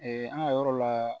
an ka yɔrɔ la